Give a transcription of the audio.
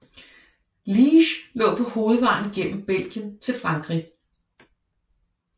Liège lå på hovedvejen gennem Belgien til Frankrig